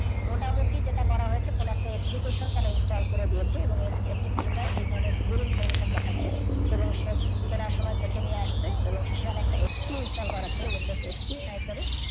মোটামুটি যেটা করা হয়েছে কোনও একটা application তারা install করে দিয়েছে এবং application টার এই ধরণের ভুল information দেখাছে এবং সে কেনার সময় দেখে নিইয়ে আসছে এবং সে সেখানে একটা XP install করার কথা ছিল windows XP